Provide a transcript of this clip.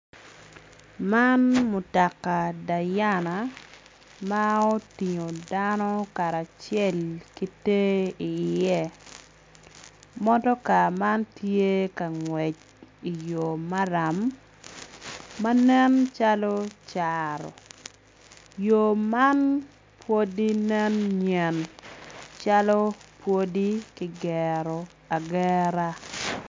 Man mutoka dayana ma otingo dako karacel ki te iye motoka man tye ka ngwec i yo maram ma nen calo caro yo man pwodi nen nyen calo pwodi kigero agera.